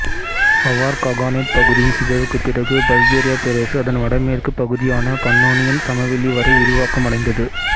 aware Khaganate பகுதியின் சிதைவுக்கு பிறகு பல்கேரிய பேரரசு அதன் வடமேற்கு பகுதியான பன்னோனியன் சமவெளி வரை விரிவாக்கம் அடைந்தது